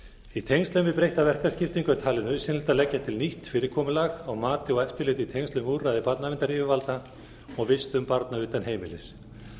í tengslum við breytta verkaskiptingu er talið nauðsynlegt að leggja til nýtt fyrirkomulag á mati og eftirliti í tengslum við úrræði barnaverndaryfirvalda og vistun barna utan heimilis